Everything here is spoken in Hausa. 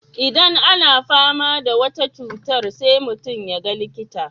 Idan ana fama da wata cutar sai mutum ya ga likita.